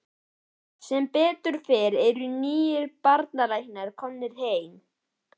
Sem betur fer eru nýir barnalæknar komnir heim.